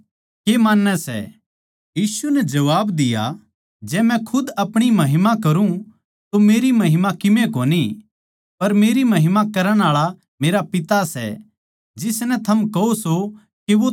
यीशु नै जबाब दिया जै मै खुद अपणी महिमा करूँ तो मेरी महिमा किमे कोनी पर मेरी महिमा करण आळा मेरा पिता सै जिसनै थम कहो सो के वो थारा परमेसवर सै